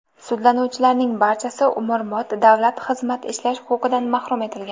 Sudlanuvchilarning barchasi umrbod davlat xizmati ishlash huquqidan mahrum etilgan.